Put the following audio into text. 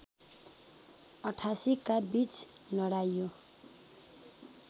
८८ का बीच लडाईँयो